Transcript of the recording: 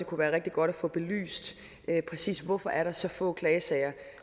kunne være rigtig godt at få belyst præcis hvorfor der er så få klagesager